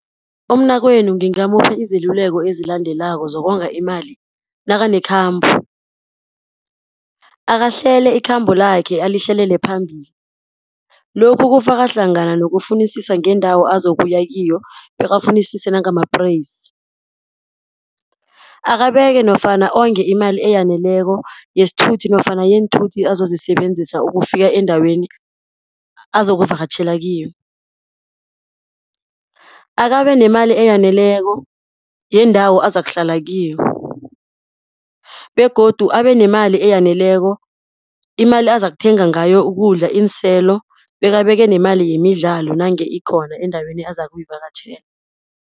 Umnakwenu ngingamupha iziluleko ezilandelako zokonga imali nakanekhambo, akahlele ikhambo lakhe alihleleli phambili. Lokhu kufaka hlangana nokufunisisa ngeendawo azokuya kiyo, bekabafunisise nangamapreyisi. Akabeke nofana onge imali eyaneleko yesithuthi, nofana yeenthuthi azozisebenzisa ukufika endaweni azokuvakatjhela kiyo. Akabe nemali eyaneleko yendawo azakuhlala kiyo, begodu abe nemali eyaneleko, imali azakuthenga ngayo ukudla, iinselo, bekabeke nemali yemidlalo nange ikhona endaweni azakuyivakatjhela.